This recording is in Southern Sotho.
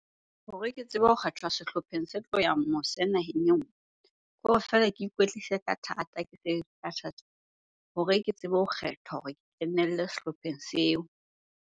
Hore ke tsebe ho kgethwa sehlopheng se tlo yang mose naheng e nngwe. Kore feela ke ikwetlise ka thata, ke ka thata hore ke tsebe ho kgethwa hore kenelle sehlopheng seo.